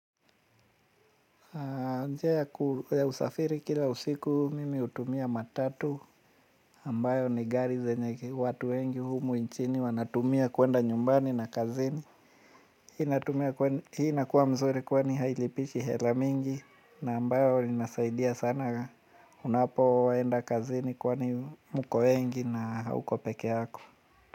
Njia ya usafiri kila usiku mimi hutumia matatu ambayo ni gari zenye watu wengi humu nchini wanatumia kuenda nyumbani na kazini. Hii inakuwa mzuri kwani hailipishi hela mingi na ambayo inasaidia sana unapoenda kazini kwani muko wengi na hauko peke yako.